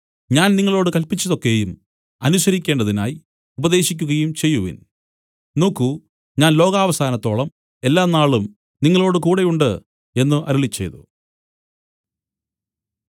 ഞാൻ നിങ്ങളോടു കല്പിച്ചത് ഒക്കെയും അനുസരിക്കേണ്ടതിനായി ഉപദേശിക്കുകയും ചെയ്യുവിൻ നോക്കു ഞാൻ ലോകാവസാനത്തോളം എല്ലാനാളും നിങ്ങളോടുകൂടെ ഉണ്ട് എന്നു അരുളിച്ചെയ്തു